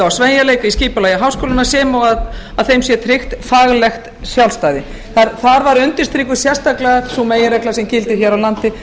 sveigjanleika í skipulagi háskólanna sem og að þeim sé tryggt faglegt sjálfstæði þar var undirstrikuð sérstaklega sú meginregla sem gildir hér á landi